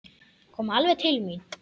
Kom alveg til mín.